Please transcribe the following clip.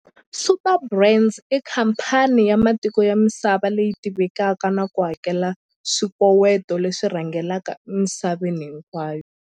Superbrands i khamphani ya matiko ya misava leyi tivekaka na ku hakela swikoweto leswi rhangelaka emisaveni hinkwayo.